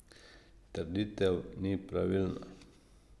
Trditev ni pravilna.